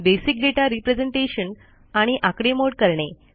basic data representation आणि आकडेमोड करणे